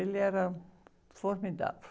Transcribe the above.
Ele era formidável.